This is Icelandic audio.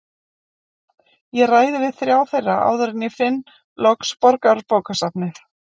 Ég ræði við þrjá þeirra áður en ég finn loks Borgarbókasafnið.